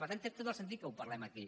per tant té tot el sentit que ho parlem aquí